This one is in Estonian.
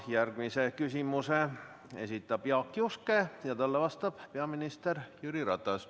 Järgmise küsimuse esitab Jaak Juske ja talle vastab peaminister Jüri Ratas.